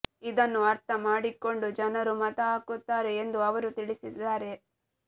ಇದನ್ನು ಅರ್ಥ ಮಾಡಿಕೊಂಡು ಜನರು ಮತ ಹಾಕುತ್ತಾರೆ ಎಂದು ಅವರು ತಿಳಿಸದ್ದಾರೆ